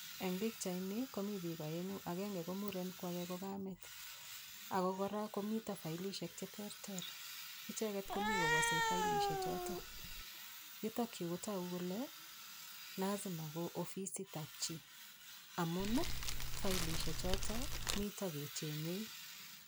Eng' pikchaini komi biik oeng'u agenge ko muren ko ake ko kamet ako kora komito filishek cheterter icheget komi kowosei filishe choto yutokyu kotogu kole lazima ko ofisitab chi amun filishe choto mito kechenyei